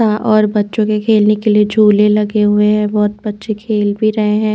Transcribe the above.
यहाँ और बच्चों के खेलने के लिए झूले लगे हुए है बहुत बच्चे खेल भी रहे है।